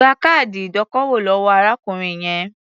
Gba káàdì ìdókòwò lọ́wọ́ arákùnrin yẹn.